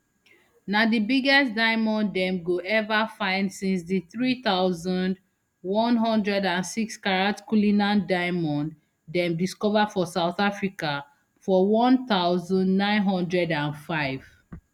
na di biggest diamond dem go ever find since di three thousand, one hundred and sixcarat cullinan diamond dem discover for south africa for one thousand, nine hundred and five